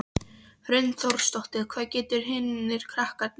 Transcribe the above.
Hrund Þórsdóttir: Hvað gerðu hinir krakkarnir?